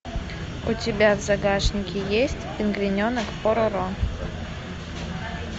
у тебя в загашнике есть пингвиненок пороро